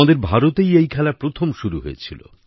আমাদের ভারতেই এই খেলা প্রথম শুরু হয়েছিল